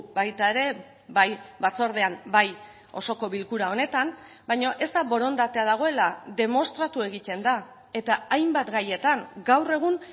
baita ere bai batzordean bai osoko bilkura honetan baina ez da borondatea dagoela demostratu egiten da eta hainbat gaietan gaur egun